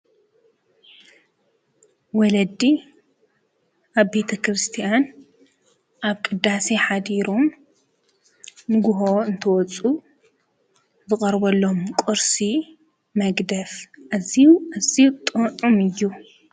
ወለዲ አብ ቤተ ክርስትያን ኣብ ቅዳሴ ሓዲሮም ንጉሆ እንትወፁ ዝቀርበሎም ቁርሲ መግደፍ ኣዝዩ ኣዝዩ ጥዑም እዩ።